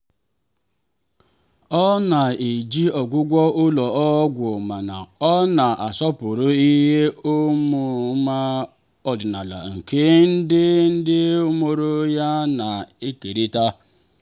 ọ na-eji ọgwụgwọ ụlọ ọgwụ mana ọ na-asọpụrụ ihe ọmụma ọdịnala nke ndị ndị mụrụ ya na-ekerịta.